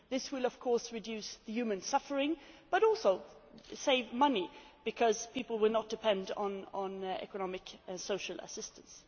This will, of course, reduce human suffering, and also save money because people will not depend on financial and social assistance.